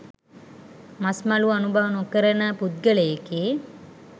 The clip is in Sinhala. මස් මලු අනුභව නොකරන පුද්ගලයෙකි.